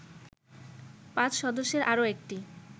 ৫ সদস্যের আরো একটি